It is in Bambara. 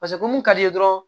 Paseke ko mun ka d'i ye dɔrɔn